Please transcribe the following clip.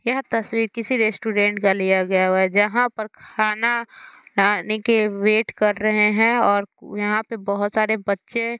यह तस्वीर किसी रेस्टूरेंट का लिया गया हुआ है जहाँ पर खाना आने के वेट कर रहे हैं और यहाँ पे बहोत सारे बच्चे --